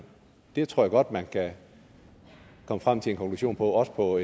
det tror jeg godt man kan komme frem til en konklusion på også på